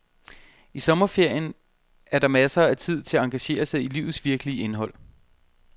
I sommerferien er der masser af tid til at engagere sig i livets virkelige indhold.